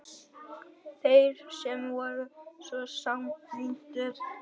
Þeir sem voru svo samrýndir!